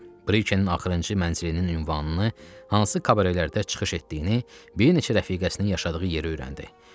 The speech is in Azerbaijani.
Brikenin axırıncı mənzilinin ünvanını, hansı kabarelərdə çıxış etdiyini, bir neçə rəfiqəsinin yaşadığı yeri bilirdi.